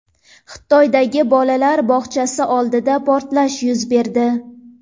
Xitoydagi bolalar bog‘chasi oldida portlash yuz berdi.